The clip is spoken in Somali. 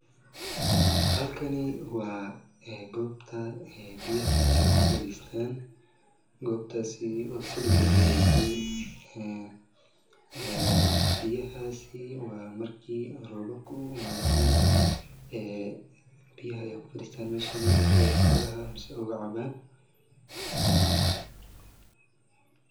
Halkani waa ee goobta ee biyaha ay ku fariistaan goobtasi oo silib lagu wareejiyay . Ee biyahaasi waa markii roobabku maado camal ee biyaha ya ku faristaan Meshani si ay xoolaha mise uga cabaan.